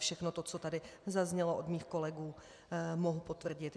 Všechno to, co tady zaznělo od mých kolegů, mohu potvrdit.